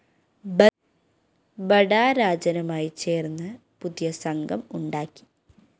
ബഡാ രാജനുമായി ചേര്‍ന്ന് പുതിയ സംഘം ഉണ്ടാക്കി